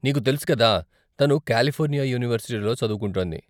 నీకు తెలుసు కదా, తను కాలిఫోర్నియా యూనివర్సిటీలో చదువుకుంటోంది.